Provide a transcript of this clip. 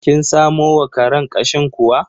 Kin samo wa karen ƙashin kuwa?